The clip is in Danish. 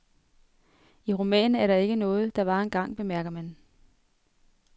I romanen er der ikke noget der var engang, bemærker han.